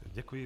Děkuji.